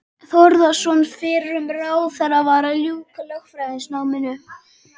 Þórðarson fyrrum ráðherra, var að ljúka lögfræðinámi.